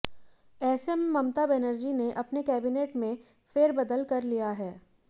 ऐसे में ममता बनर्जी ने अपने कैबिनेट में फेरबदल कर लिया है